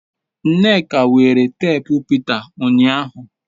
nneka were teepu Peter unyahu